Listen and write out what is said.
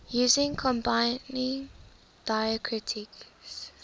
using combining diacritics